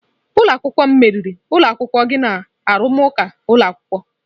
Ụlọ akwụkwọ m meriri ụlọ akwụkwọ gị na arụmụka ụlọ akwụkwọ.